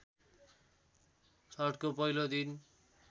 छठको पहिलो दिन